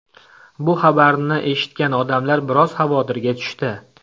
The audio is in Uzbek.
Bu xabarni eshitgan odamlar biroz xavotirga tushdi.